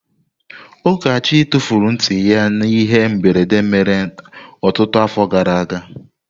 Ukachi tufuru nti ya n'ihe mberede mere ọtụtụ afọ gara aga.